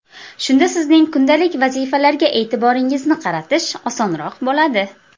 Shunda sizning kundalik vazifalarga e’tiboringizni qaratish osonroq bo‘ladi.